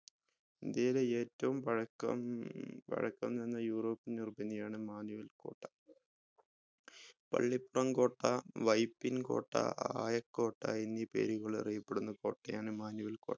ഇന്ത്യയിലെ ഏറ്റവും പഴക്കം പഴക്കം ചെന്ന european നിർമ്മിതിയാണ് മാനുവൽ കോട്ട പള്ളിപ്പ്രം കോട്ട വൈപ്പിൻ കോട്ട ആയ കോട്ട എന്നീ പേരുകളിൽ അറിയപ്പെടുന്ന കോട്ടയാണ് മാനുവൽ കോട്ട